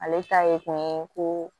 Ale ta ye kun ye ko